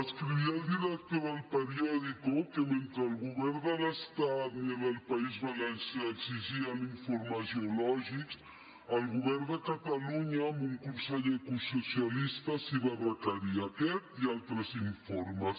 escrivia el director d’el periòdico que mentre el govern de l’estat ni el del país valencià exigien informes geològics el govern de catalunya amb un conseller ecosocialista sí que els requeria aquest i altres informes